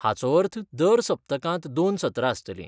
हाचो अर्थ दर सप्तकांत दोन सत्रां आसतलीं.